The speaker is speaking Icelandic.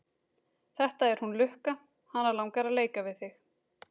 Þetta er hún Lukka, hana langar að leika við þig.